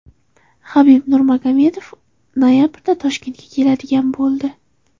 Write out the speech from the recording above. Habib Nurmagomedov noyabrda Toshkentga keladigan bo‘ldi.